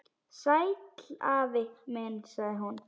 Sæll afi minn sagði hún.